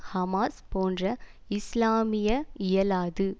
Hamas போன்ற இஸ்லாமிய இயலாது